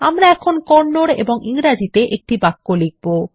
আমরা এখন কন্নড এবং ইংরেজিতে একটি বাক্য লিখবো